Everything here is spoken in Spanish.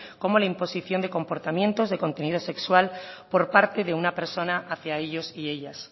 como la imposición de comportamientos de contenido sexual por parte de una persona hacia ellos y ellas